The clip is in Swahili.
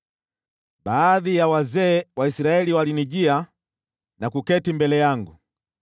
Baadhi ya wazee wa Israeli walinijia na kuketi mbele yangu.